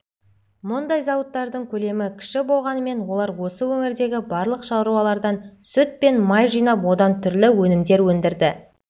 мұндай зауыттардың көлемі кіші болғанымен олар осы өңірдегі барлық шаруалардан сүт пен май жинап одан түрлі өнімдер өндірді